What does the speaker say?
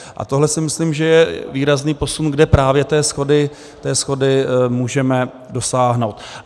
A tohle si myslím, že je výrazný posun, kde právě té shody můžeme dosáhnout.